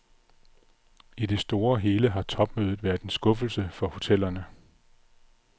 I det store og hele har topmødet været en skuffelse for hotellerne.